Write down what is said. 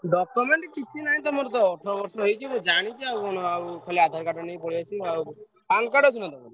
Document କିଛି ନାହିଁ ତମର ତ ଅଠର ବର୍ଷ ହେଇଛି ଆଉ ମୁଁ ଜାଣିଛି ଆଉ କଣ ଖାଲି ଆଧାର କାର୍ଡ ଟା ନେଇକି ପଳେଇଆସିବ ଆଉ। ପାନ କାର୍ଡ ଅଛି ନା ତମର?